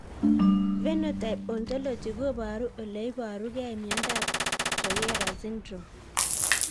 Phenotype ontology koparu ole iparukei miondop Troyer syndrome